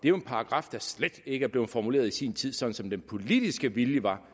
er en paragraf der slet ikke blev formuleret i sin tid sådan som den politiske vilje var